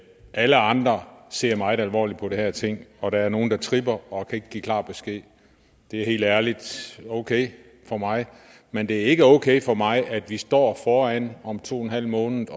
alle andre ser meget alvorligt på de her ting og der er nogen der tripper og ikke kan give klar besked det er helt ærligt okay for mig men det er ikke okay for mig at vi står foran om to en halv måned